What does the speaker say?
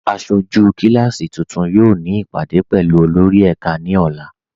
Aṣọjú kíláàsí tuntun yóò ni ipádé pẹ̀lú olórì ẹká ni ọ̀là.